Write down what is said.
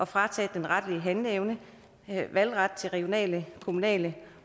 frataget den retlige handleevne valgret til regionale kommunale